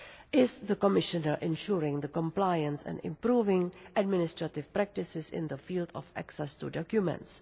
is the Commissioner who ensures compliance and improves administrative practices in the field of access to documents.